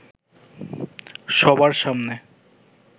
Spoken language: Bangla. সবার সামনে